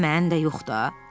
Daha mən də yox da.